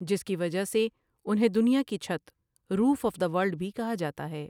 جس کی وجہ سے انہیں دنیا کی چھت روف ایف ڈاہ وولڈھ بھی کہا جاتا ہے۔